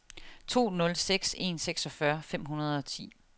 to nul seks en seksogfyrre fem hundrede og ti